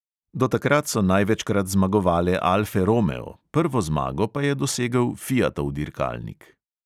Do takrat so največkrat zmagovale alfe romeo, prvo zmago pa je dosegel fiatov dirkalnik.